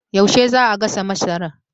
Yaushe zaa gasa masarar?